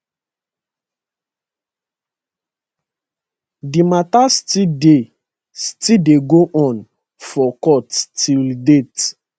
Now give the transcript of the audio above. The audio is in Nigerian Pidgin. di mata still dey still dey go on for court till date